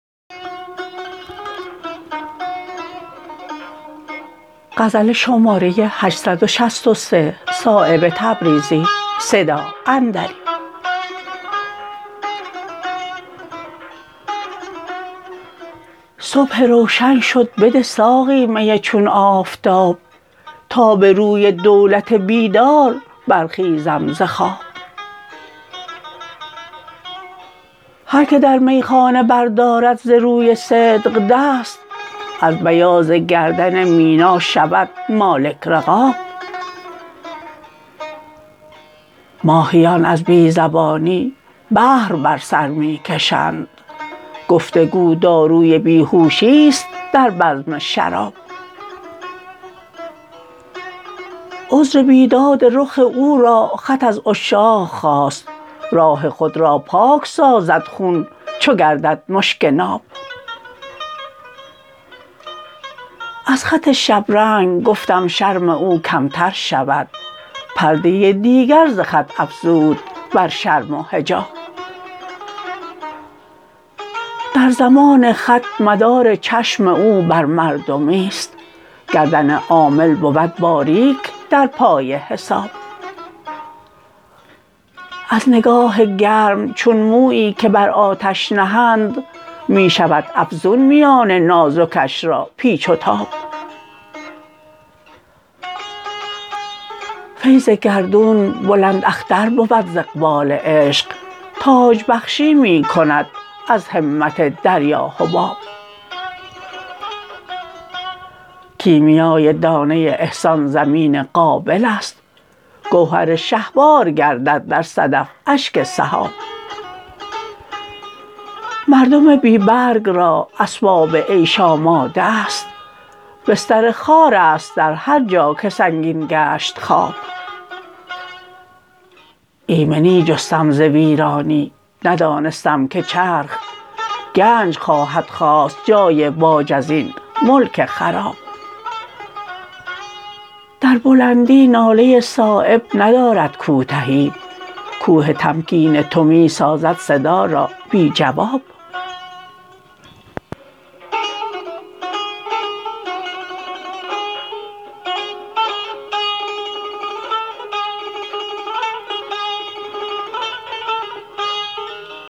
صبح روشن شد بده ساقی می چون آفتاب تا به روی دولت بیدار برخیزم ز خواب هر که در میخانه بردارد ز روی صدق دست از بیاض گردن مینا شود مالک رقاب ماهیان از بی زبانی بحر بر سر می کشند گفتگو داروی بیهوشی است در بزم شراب عذر بیداد رخ او را خط از عشاق خواست راه خود را پاک سازد خون چو گردد مشک ناب از خط شبرنگ گفتم شرم او کمتر شود پرده دیگر ز خط افزود بر شرم و حجاب در زمان خط مدار چشم او بر مردمی است گردن عامل بود باریک در پای حساب از نگاه گرم چون مویی که بر آتش نهند می شود افزون میان نازکش را پیچ و تاب فیض گردون بلنداختر بود ز اقبال عشق تاج بخشی می کند از همت دریا حباب کیمیای دانه احسان زمین قابل است گوهر شهوار گردد در صدف اشک سحاب مردم بی برگ را اسباب عیش آماده است بستر خار است در هر جا که سنگین گشت خواب ایمنی جستم ز ویرانی ندانستم که چرخ گنج خواهد خواست جای باج ازین ملک خراب در بلندی ناله صایب ندارد کوتهی کوه تمکین تو می سازد صدا را بی جواب